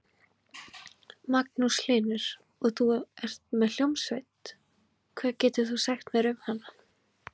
Magnús Hlynur: Og þú ert með hljómsveit, hvað getur þú sagt mér um hana?